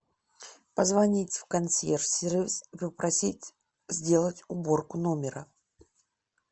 позвонить в консьерж сервис и попросить сделать уборку номера